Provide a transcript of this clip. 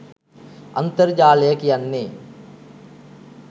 අන්තර්ජාලය කියන්නේ